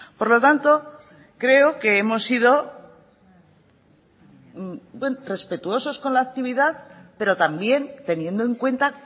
por lo tanto creo que hemos sido respetuosos con la actividad pero también teniendo en cuenta